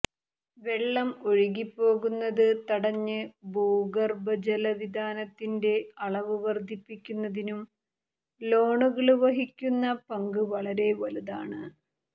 വെള്ളം ഒഴുകിപ്പോകുന്നത് തടഞ്ഞ് ഭൂഗര്ഭ ജല വിതാനത്തിന്റെ അളവ് വര്ദ്ധിപ്പിക്കുന്നതിനും ലോണുകള് വഹിക്കുന്ന പങ്ക് വളരെ വലുതാണ്